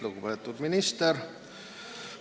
Lugupeetud minister!